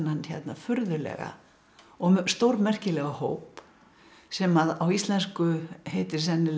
furðulega og stórmerkilega hóp sem á íslensku heitir sennilega